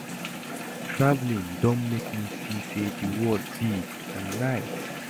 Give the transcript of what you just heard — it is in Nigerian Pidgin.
Traveling don make me see say the world big and nice